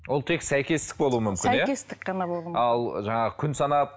ол тек сәйкестік болу мүмкін сәйкестік қана болуы ал жаңағы күн санап